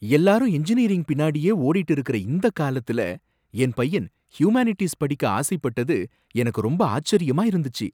எல்லாரும் எஞ்சினியரிங் பின்னாடியே ஓடிட்டு இருக்குற இந்தக் காலத்துல என் பையன் ஹியூமானிட்டிஸ் படிக்க ஆசைப்பட்டது எனக்கு ரொம்ப ஆச்சரியமா இருந்துச்சி.